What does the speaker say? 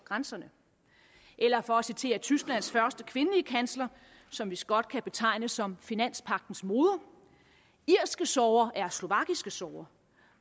grænserne eller for at citere tysklands første kvindelige kansler som vist godt kan betegnes som finanspagtens moder irske sorger er slovakiske sorger